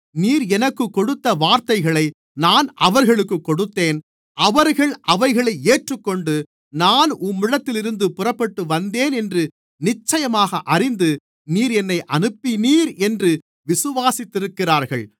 நீர் எனக்குக் கொடுத்த வார்த்தைகளை நான் அவர்களுக்குக் கொடுத்தேன் அவர்கள் அவைகளை ஏற்றுக்கொண்டு நான் உம்மிடத்திலிருந்து புறப்பட்டுவந்தேன் என்று நிச்சயமாக அறிந்து நீர் என்னை அனுப்பினீர் என்று விசுவாசித்திருக்கிறார்கள்